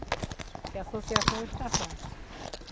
Que a associação hoje está fraca.